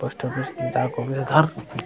post office के घर --